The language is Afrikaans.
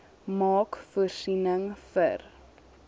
maak voorsiening vir